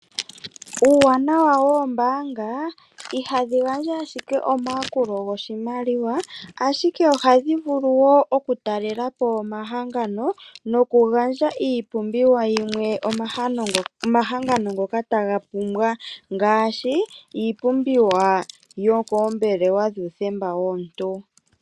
Uuwanawa woombanga ihadhi ngandja ashike omayakulo ngoshimaliwa, ashike oha dhivulu wo oku talelapo omahangano noku gandja ipumbiwa yimwe omahangano ngoka tagapumbwa ngashi, ipumbiwa yokombelewa dhuthemba womuntu.